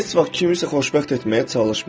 Heç vaxt kimisə xoşbəxt etməyə çalışma.